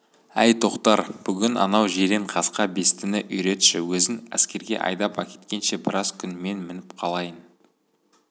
әй тоқтар бүгін анау жиренқасқа бестіні үйретші өзін әскерге айдап әкеткенше біраз күн мен мініп қалайын